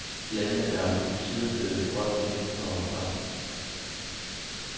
Landet er omsider blevet et hot emne for pressen.